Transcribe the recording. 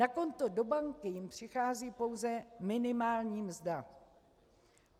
Na konto do banky jim přichází pouze minimální mzda.